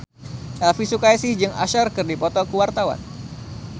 Elvi Sukaesih jeung Usher keur dipoto ku wartawan